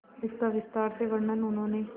इसका विस्तार से वर्णन उन्होंने